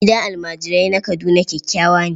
Gidan almajirai na Kaduna kyakkyawa ne.